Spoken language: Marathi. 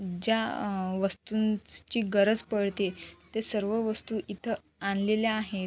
ज्या अ वस्तूंची गरज पडते ते सर्व वस्तु इथ आणलेल्या आहेत.